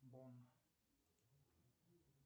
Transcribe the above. бом